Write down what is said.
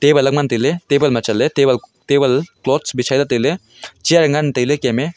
ngan tai ley table ma chatley chair ngan tai ley.